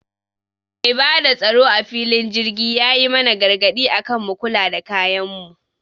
Mai bada tsaro a filin jirgi yayi mana gargaɗi akan mu kula da kayan mu